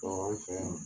Ɔ anw fɛ yan